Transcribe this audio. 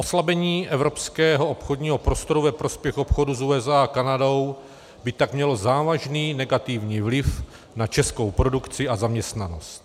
Oslabení evropského obchodního prostoru ve prospěch obchodu s USA a Kanadou by tak mělo závažný negativní vliv na českou produkci a zaměstnanost.